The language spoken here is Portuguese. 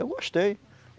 Eu gostei.